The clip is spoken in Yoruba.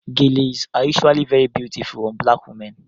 Geles are usually very beautiful on black women